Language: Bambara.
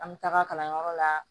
An bɛ taga kalanyɔrɔ la